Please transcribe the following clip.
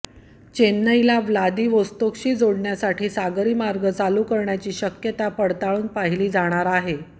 चेन्नईला व्लादिवोस्तोकशी जोडण्यासाठी सागरी मार्ग चालू करण्याची शक्यता पडताळून पाहिली जाणार आहे